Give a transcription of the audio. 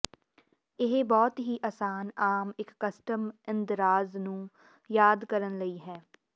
ਇਹ ਬਹੁਤ ਹੀ ਆਸਾਨ ਆਮ ਇੱਕ ਕਸਟਮ ਇੰਦਰਾਜ਼ ਨੂੰ ਯਾਦ ਕਰਨ ਲਈ ਹੈ